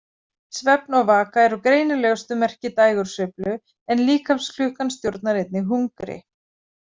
Svefn og vaka eru greinilegustu merki dægursveiflu en líkamsklukkan stjórnar einnig hungri.